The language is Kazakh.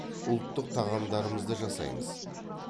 ұлттық тағамдарымызды жасаймыз